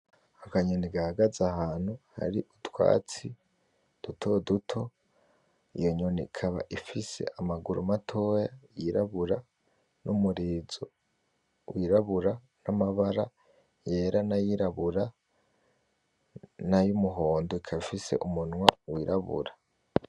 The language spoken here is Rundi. Akanyoni gahagaze ahantu hari utwatsi dutoduto, iyo nyoni ikaba ifise amaguru matoya y'irabura numurizo w'irabura n'amabara yera nayirabura na y'umuhondo ikaba ifise umunwa w'irabura